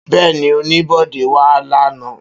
Beeni onibode wa la na.